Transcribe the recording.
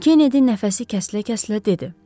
Kennedi nəfəsi kəsilə-kəsilə dedi.